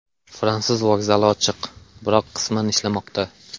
Fransuz vokzali ochiq, biroq qisman ishlamoqda.